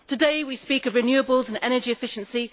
Today, we speak of renewables and energy efficiency.